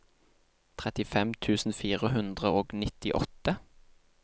trettifem tusen fire hundre og nittiåtte